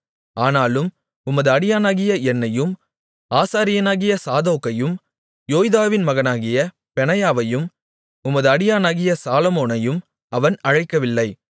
ஆனாலும் உமது அடியானாகிய என்னையும் ஆசாரியனாகிய சாதோக்கையும் யோய்தாவின் மகனாகிய பெனாயாவையும் உமது அடியானாகிய சாலொமோனையும் அவன் அழைக்கவில்லை